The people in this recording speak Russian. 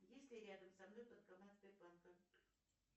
есть ли рядом со мной банкомат сбербанка